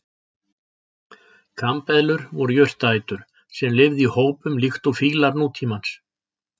Kambeðlur voru jurtaætur sem lifðu í hópum líkt og fílar nútímans.